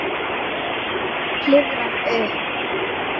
Klifrar upp.